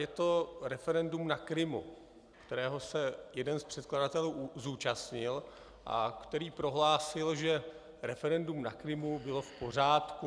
Je to referendum na Krymu, kterého se jeden z předkladatelů zúčastnil, a který prohlásil, že referendum na Krymu bylo v pořádku.